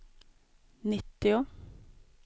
nittio